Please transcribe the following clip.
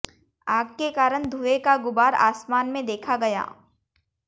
आग के कारण धुएं का गुबार आसमान में देखा गया